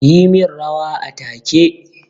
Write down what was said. Yi min rawa a take!